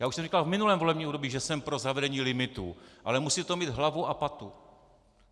Já už jsem říkal v minulém volebním období, že jsem pro zavedení limitu, ale musí to mít hlavu a patu.